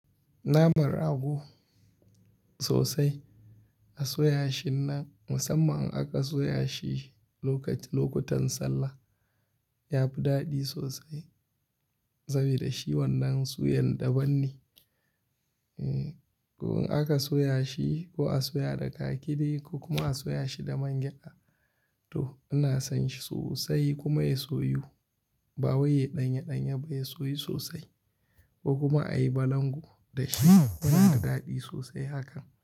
Naman rago sosai a soya shi nan musamman in aka soya shi lokaci-- lokutan sallah yafi daɗi sosai saboda shi wannan suyan daban ne. E, ko in aka soya shi ko a soya da kakide ko kuma a soya shi da man gyaɗa to ina san shi sosai kuma ya soyu ba wai yayi ɗanye ɗanye ba ya soyu sosai ko kuma ayi balangu da shi yana da daɗi sosai hakan.